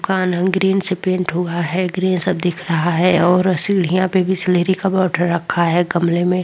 green से paint हुआ है ग्रीन सब दिख रहा है और सीढ़ियां पे बिसलेरी का बॉर्डर रखा है गमले में --